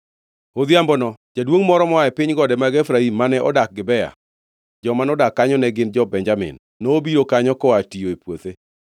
Odhiambono jaduongʼ moro moa e piny gode mag Efraim, mane odak Gibea (joma nodak kanyo ne gin jo-Benjamin), nobiro kanyo koa tiyo e puothe.